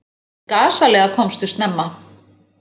Gasalega komstu snemma.